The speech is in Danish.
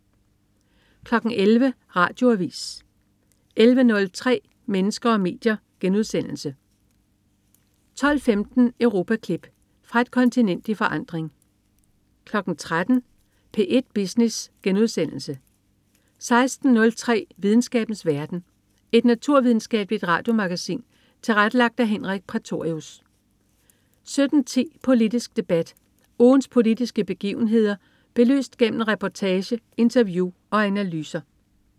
11.00 Radioavis 11.03 Mennesker og medier* 12.15 Europaklip. Fra et kontinent i forandring 13.00 P1 Business* 16.03 Videnskabens verden. Et naturvidenskabeligt radiomagasin tilrettelagt af Henrik Prætorius 17.10 Politisk Debat. Ugens politiske begivenheder belyst gennem reportage, interview og analyser